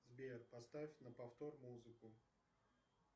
сбер поставь на повтор музыку